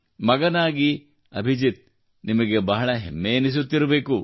ಮಗನಾಗಿ ಅಭಿಜಿತ್ ನಿಮಗೆ ಬಹಳ ಹೆಮ್ಮೆ ಎನಿಸುತ್ತಿರಬೇಕು